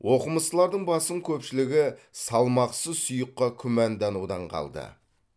оқымыстылардың басым көпшілігі салмақсыз сұйыққа күмәнданудан қалды